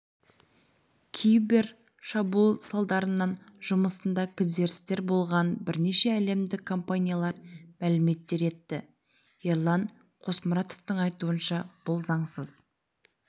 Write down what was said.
кибер шабуыл салдарынан жұмысында кідірістер болғанын бірнеше әлемдік компаниялар мәлім етті ерлан қосмұратовтың айтуынша бұл заңсыз